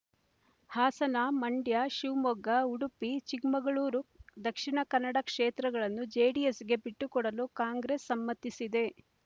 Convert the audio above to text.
ಹಾಸನ ಮಂಡ್ಯ ಶಿವಮೊಗ್ಗ ಉಡುಪಿ ಚಿಕ್ಕಮಗಳೂರು ದಕ್ಷಿಣ ಕನ್ನಡ ಕ್ಷೇತ್ರಗಳನ್ನು ಜೆಡಿಎಸ್‌ಗೆ ಬಿಟ್ಟುಕೊಡಲು ಕಾಂಗ್ರೆಸ್ ಸಮ್ಮತಿಸಿದೆ